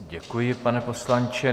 Děkuji, pane poslanče.